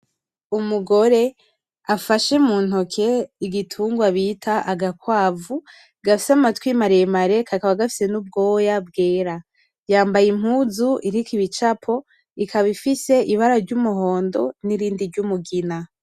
Umugore afashe mu ntoke igitungwa bita agakwavu gafise amatwi maremare kakaba gafise n'ubwoya bwera, yambaye impuzu iriko ibicapo ikaba ifise ibara ry'umuhondo nirindi ryumugina.